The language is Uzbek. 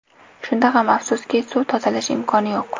Shunda ham afsuski, suv tozalash imkoni yo‘q.